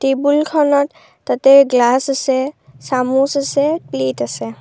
টেবুলখনত তাতে গ্লাচ আছে চামুচ আছে প্লেট আছে।